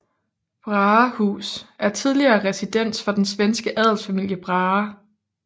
Brahehus er tidligere residens for den svenske adelsfamilie Brahe